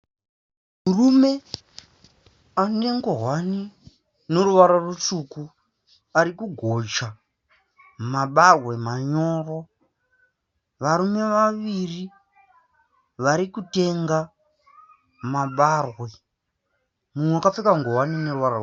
Murume ane ngowani ine ruwara rutsvuku arikugocha mabagwe manyoro. Varume vaviri varikutenga mabarwe mumwe akapfeka ngowani ine ruwara rwebhuruu.